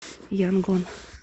янгон